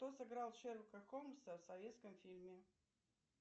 кто сыграл шерлока холмса в советском фильме